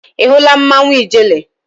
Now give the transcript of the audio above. Ị hụla mmanwụ ijele?